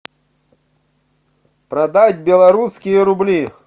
продать белорусские рубли